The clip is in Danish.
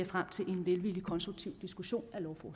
frem til en velvillig konstruktiv diskussion